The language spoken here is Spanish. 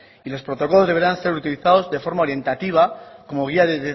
y los protocolos deberán ser utilizados de forma orientativa como guía de